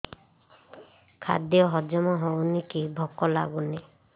ଖାଦ୍ୟ ହଜମ ହଉନି କି ଭୋକ ଲାଗୁନି